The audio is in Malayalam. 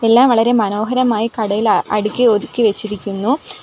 എല്ലാം വളരെ മനോഹരമായി കടയിൽ അടുക്കി ഒതുക്കി വെച്ചിരിക്കുന്നു.